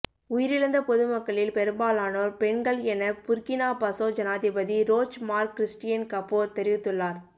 உயிரிழந்த பொதுமக்களில் பெரும்பாலானோர் பெண்கள் என புர்கினா பசோ ஜனாதிபதி ரோச் மார்க் கிறிஸ்டியன் கபோர் தெரிவித்துள்ளார